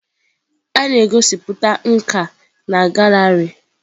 A na-egosipụta nka na gallery.